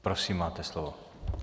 Prosím, máte slovo.